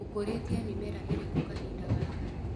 ũkũrĩtie mĩmera ĩrĩkũ kahinda gaka.